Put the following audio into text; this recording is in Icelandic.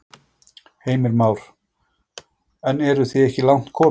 Heimir Már: En eru þið ekki langt komin?